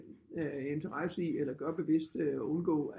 Øh interesse i eller gør bevidst undgå